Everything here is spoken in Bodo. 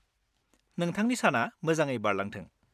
नोंथांनि साना मोजाङै बारलांथों।